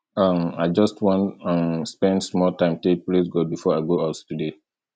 um i just wan um spend small time take praise god before i go out today